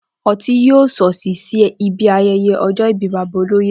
O̩tí yóò s̩òs̩ì sí ibi aye̩ye̩ o̩jò̩ ìbí bàbá olóyè